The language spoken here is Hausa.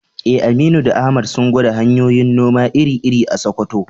Eh, Aminu da Ahmad sun gwada hanyoyin noma iri-iri a Sakkwato.